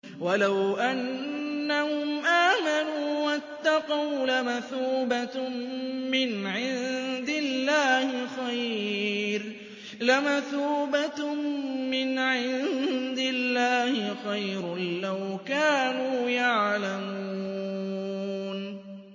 وَلَوْ أَنَّهُمْ آمَنُوا وَاتَّقَوْا لَمَثُوبَةٌ مِّنْ عِندِ اللَّهِ خَيْرٌ ۖ لَّوْ كَانُوا يَعْلَمُونَ